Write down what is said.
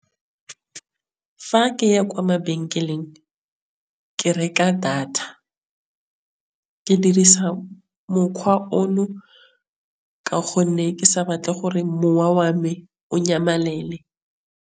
Fa keya kwa mabenkeleng ke reka data. Ke dirisa mokgwa ono ka gonne ke sa batle gore mowa wa me o nyamelele.